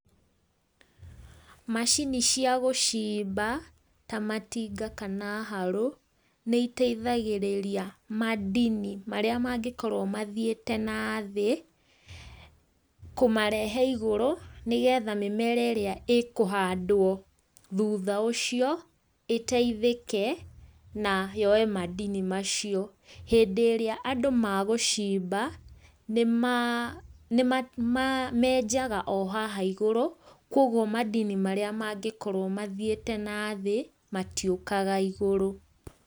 Macini cia gũciimba ta matinga kana harũ nĩiteithagĩrĩria madini marĩa mangĩkorwo mathiĩte na thĩ kũmarehe igũrũ nĩgetha mĩmera ĩrĩa ĩkũhandwo thutha ũcio ĩteithĩke na yoye madini macio. Hĩndĩ ĩrĩa andũ magũcimba nĩ menjaga o haha igũrũ kwoguo madini marĩa mangĩkorwo mathiĩte na thĩ matiũkaga igũrũ.